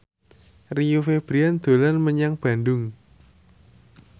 Rio Febrian dolan menyang Bandung